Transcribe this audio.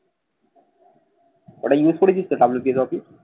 ওটা use করেছিস তো WPS office